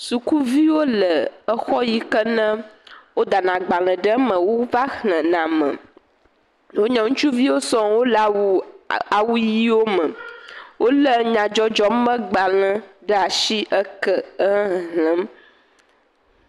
Sukuviwo le exɔ yi ke me wodana agbalẽ ɖe me wova xlẽna me. Wonye ŋutsuviwo sɔŋ, Wole awu awu ʋiwome. Wolé nyadzɔdzɔmegbalẽ ɖe ashi. Eke, exexlẽm.